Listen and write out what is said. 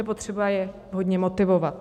Je potřeba je vhodně motivovat.